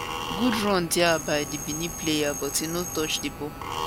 good run dia by di benin player but e no touch di ball